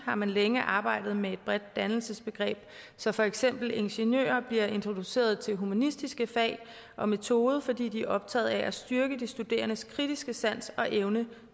har man længe arbejdet med et bredt dannelsesbegreb så for eksempel ingeniører bliver introduceret til humanistiske fag og metoder fordi de er optagede af at styrke de studerendes kritiske sans og evne